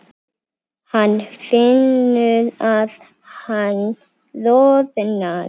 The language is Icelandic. Hann finnur að hann roðnar.